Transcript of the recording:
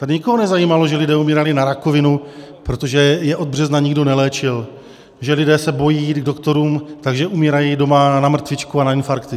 Tady nikoho nezajímalo, že lidé umírali na rakovinu, protože je od března nikdo neléčil, že lidé se bojí jít k doktorům, takže umírají doma na mrtvičku nebo na infarkty.